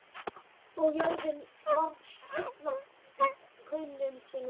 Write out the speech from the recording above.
Og jörðin varð heil af kaunum sínum og viðurstyggð.